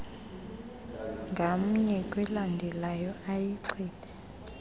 ngamnye kwelandelelanayo ayichithe